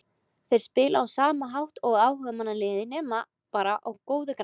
Þeir spila á sama hátt og áhugamannalið nema bara á góðu grasi.